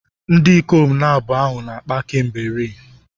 Ndị ikom abụọ ahụ na-akpa kemgbe rii.